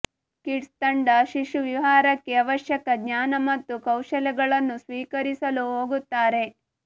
kids ತಂಡ ಶಿಶುವಿಹಾರಕ್ಕೆ ಅವಶ್ಯಕ ಜ್ಞಾನ ಮತ್ತು ಕೌಶಲಗಳನ್ನು ಸ್ವೀಕರಿಸಲು ಹೋಗುತ್ತಾರೆ